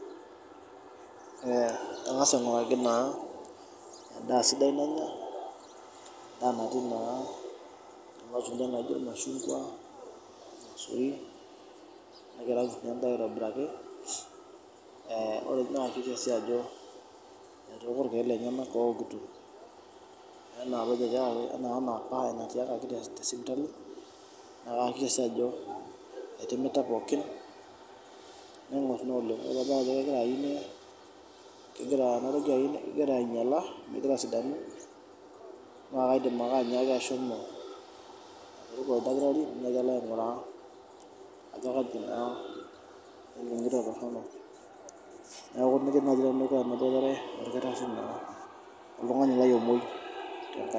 Angas ainguraki naa endaa sidai nanya ,alo ianguraki irmashungwa ,irmaisurin ,nayieraki siininye endaa aitobiraki ,naiakikisha ajo etooko irkeek lenyenak oowokito ena apa embae natiakaki tesipitali nayakikisha ajo etimita pookin naingor naa oleng. Ore pee adol ajo kegira asidanu ,kaidim ake ashomo aingoru oldakitari ajo kaji naa eningito toronok. Neeku mikimen naaji aboitare oltungani lai omwoi.